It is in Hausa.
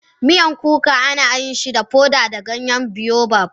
Miyan kuka ana yin shi da foda da ganyen baobab.